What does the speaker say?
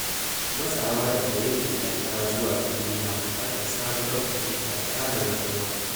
Matsawa daga yankin karkara zuwa birni na buƙatar sabuwar fahimta da tsarin rayuwa.